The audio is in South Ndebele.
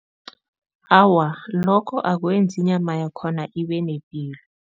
Awa, lokho akwenzi inyama yakhona ibe nepilo.